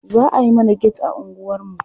Za a yi mana get a unguwarmu.